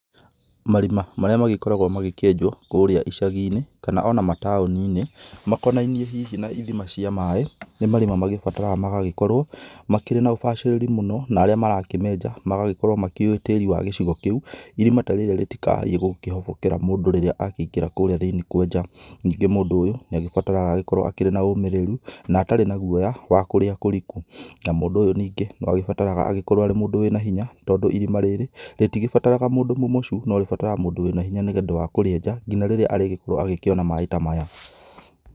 Marima marĩa magĩkoragwo magĩkĩenjwo kũrĩa icaginĩ, kana ona mataũninĩ, makonainĩ hihi na ithima cia maĩ. Nĩ marima magĩbataraga magagĩkorwo makĩrĩ na ubacĩrĩri mũno, na arĩa marakĩmenja magagĩkorwo makĩũĩ tĩri wa gicigo kĩu, irima ta rĩrĩa rĩtikahaiye gũkĩhobokera mũndũ rĩrĩa akĩingĩra kũrĩa thĩinĩĩ kwenja. Ningĩ mũndũ ũyũ nĩagĩbataraga agĩkorwo akĩrĩ na ũmĩrĩru, na atarĩ na guoya wa kũrĩa kũrĩku. Na mũndũ ũyũ ningĩ, noagĩbataraga agĩkorwo arĩ mũndũ wĩ na hinya. Tondũ irima rĩrĩ rĩtigĩbataraga mũndũ mũmocu, no rĩbataraga mũndũ wĩ na hinya nĩũndũ wa kũrĩenja, nginya rĩrĩa arĩgĩkorwo agĩkĩona maĩ ta maya.